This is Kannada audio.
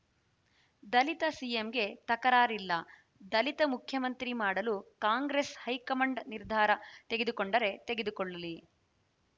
ದಲಿತ ಸಿಎಂಗೆ ತಕರಾರಿಲ್ಲ ದಲಿತ ಮುಖ್ಯಮಂತ್ರಿ ಮಾಡಲು ಕಾಂಗ್ರೆಸ್‌ ಹೈಕಮಾಂಡ್‌ ನಿರ್ಧಾರ ತೆಗೆದುಕೊಂಡರೆ ತೆಗೆದುಕೊಳ್ಳಲಿ